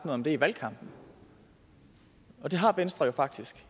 om det i valgkampen og det har venstre jo faktisk